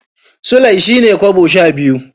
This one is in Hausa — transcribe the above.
Sulai shine kobo sha biyu.